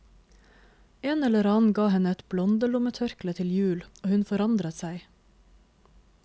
En eller annen ga henne et blondelommetørkle til jul, og hun forandret seg.